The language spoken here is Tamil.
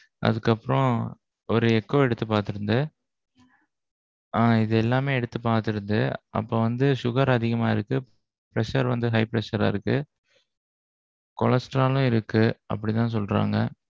அதுக்கு அப்பறோம். ஒரு ECO எடுத்து பாத்திருந்து. ஆஹ் இது எல்லாமே எடுத்து பாத்திரிந்தது. அப்போ வந்து sugar அதிகமா இருக்கு. pressure வந்து high pressure அ இருக்கு. cholesterol ம் இருக்கு அப்பிடி தான் சொல்றாங்க.